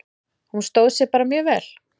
Hún stóð sig bara mjög vel.